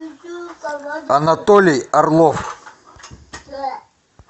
анатолий орлов